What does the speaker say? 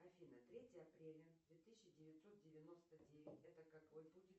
афина третье апреля две тысячи девятьсот девяносто девять это какой будет